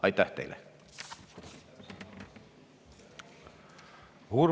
Aitäh teile!